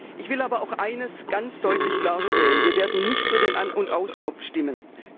Ich will aber auch eines ganz deutlich klarstellen Wir werden nicht für den An und Aus Knopf stimmen.